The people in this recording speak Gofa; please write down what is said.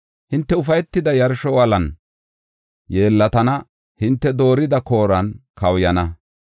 Hinte ufaytida yarsho wolan yeellatana; hinte doorida kooran kawuyana.